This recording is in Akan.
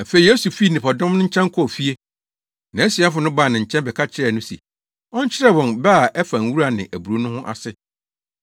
Afei Yesu fii nnipadɔm no nkyɛn kɔɔ fie. Nʼasuafo no baa ne nkyɛn bɛka kyerɛɛ no se ɔnkyerɛ wɔn bɛ a ɛfa nwura ne aburow ho no ase.